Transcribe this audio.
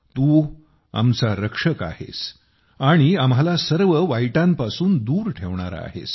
तू आमचा रक्षक आहेस आणि आम्हाला सर्व वाईटांपासून दूर ठेवणारा आहेस